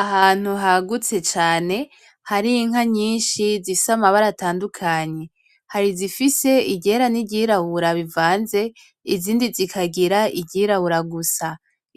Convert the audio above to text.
Ahantu hagutse cane harinka nyinshi zifise amabara atandukanye harizifise iryera niryirabura bivanze, izindi zikagira iryirabura gusa